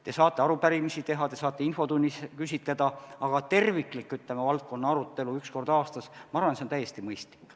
Te saate arupärimisi teha, te saate infotunnis küsitleda, aga terviklik valdkonna arutelu üks kord aastas, ma arvan, on täiesti mõistlik.